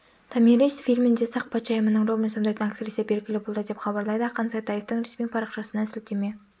томирис фильмінде сақ патшайымының рөлін сомдайтын актриса белгілі болды деп хабарлайды ақан сатаевтың ресми парақшасына сілтеме